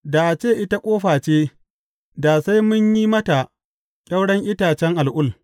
Da a ce ita ƙofa ce, da sai mun yi mata ƙyauren itacen al’ul.